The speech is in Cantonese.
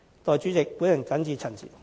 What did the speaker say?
代理主席，我謹此陳辭。